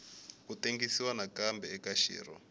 ku tengisiwa nakambe eka xirho